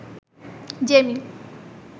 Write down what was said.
Jamie